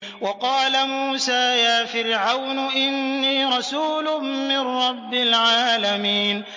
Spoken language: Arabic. وَقَالَ مُوسَىٰ يَا فِرْعَوْنُ إِنِّي رَسُولٌ مِّن رَّبِّ الْعَالَمِينَ